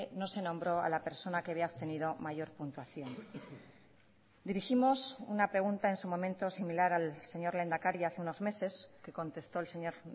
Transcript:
no se nombró a la persona que había obtenido mayor puntuación dirigimos una pregunta en su momento similar al señor lehendakari hace unos meses que contestó el señor